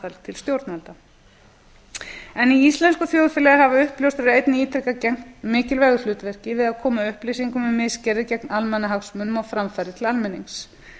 aðhald til stjórnvalda í íslensku þjóðfélagi hafa uppljóstrarar einnig ítrekað gegnt mikilvægu hlutverki við að koma upplýsingum um misgerðir gegn almannahagsmunum á framfæri til almennings